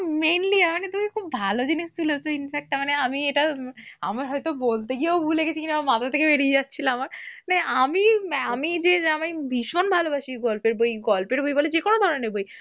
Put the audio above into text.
mainly মানে তুমি খুব ভালো জিনিস তুলেছো infact মানে আমি এটা আমার হয়তো বলতে গিয়েও ভুলে গেছি কিনা মাথা থেকে বেরিয়ে যাচ্ছিল আমার। মানে আমি ভীষণ ভালবাসি গল্পের বই, গল্পের বই বলো যেকোনো ধরনের বই।